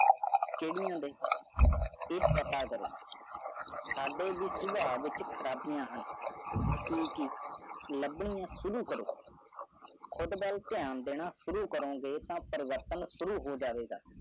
ਕੀਨੀਆ by ਇਸ਼ਾਰਾ ਤੁਹਾਦੀ ਮਿਸਬਾਹ ਡੈਣ ਬੁਰਾ ਹੈ ਦੇਣਾ ਲੰਬੇ ਸ਼ੁਰੂ ਕਰੋ ਖੁਦ ਵਾਲ ਦੇਹਨ ਡੇਰਾ ਸ਼ੂਰੁ ਕਰੋ ਗਿਆ ਤਾ ਪਰਵਤਾ ਸ਼ੂਰੁ ਹੋ ਜਵੇ ਜੀ